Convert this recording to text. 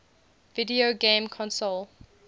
video game console